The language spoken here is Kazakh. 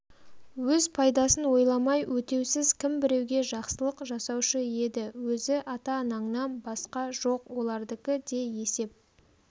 өз пайдасын ойламай өтеусіз кім біреуге жақсылық жасаушы еді өзі ата-анаңнан басқа жоқ олардікі де есеп